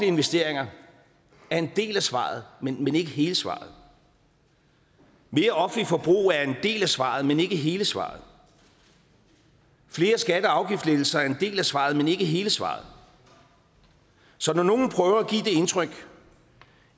investeringer er en del af svaret men ikke hele svaret mere offentligt forbrug er en del af svaret men ikke hele svaret flere skatte og afgiftslettelser er en del af svaret men ikke hele svaret så når nogle prøver at give indtryk